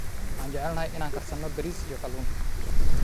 Waxaan jecelnahay inaan karsano bariis iyo kalluun.